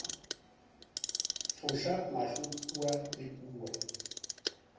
foša mahlo kua le kua